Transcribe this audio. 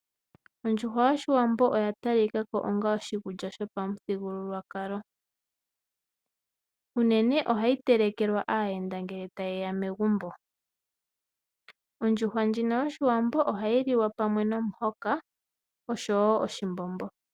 Ondjuhwa yoshiwambo oya talika ko onga oshikulya shopamuthigululwakalo. Unene ohayi telekelwa aayenda ngele ta yeya megumbo. Ondjuhwa ndjino yoshiwambo ohayi liwa pamwe nomuhoka oshowo oshimbombo.